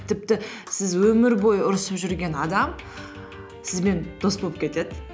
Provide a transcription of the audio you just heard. тіпті сіз өмір бойы ұрысып жүрген адам сізбен дос болып кетеді